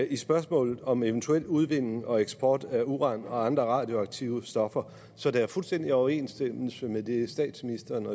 i spørgsmålet om eventuel udvinding og eksport af uran og andre radioaktive stoffer så der er fuldstændig overensstemmelse mellem det statsministeren